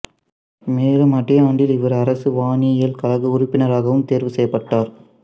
மேலும் அதே ஆண்டில் இவர் அரசு வானியல் கழக உறுப்பினராகவும் தேர்வு செய்யப்பட்டார்